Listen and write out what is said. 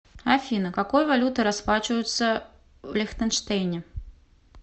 афина какой валютой расплачиваются в лихтенштейне